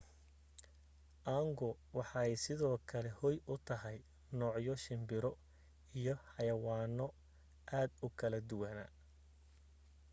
aagu waxay sidoo kale hoy u tahay noocyo shimbiro iyo xayawaano aad u kala duwana